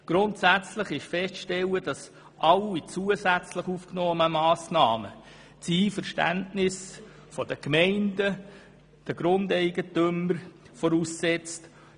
Grundsätzlich ist festzustellen, dass alle zusätzlich aufgenommenen Massnahmen das Einverständnis der Gemeinden und der Grundeigentümer voraussetzen.